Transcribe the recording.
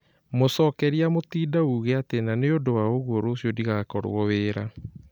Mũcokeria Mutinda uuge ati nanĩũndũ wa ũguo rũciũ ndĩgakorũo wĩĩra.